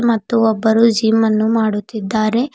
ಮತ್ತು ಒಬ್ಬರು ಜಿಮ್ ಅನ್ನು ಮಾಡುತ್ತಿದ್ದಾರೆ.